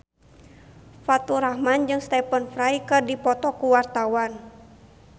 Faturrahman jeung Stephen Fry keur dipoto ku wartawan